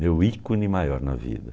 Meu ícone maior na vida.